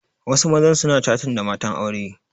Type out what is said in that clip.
Wasu mazan suna catin da matan aure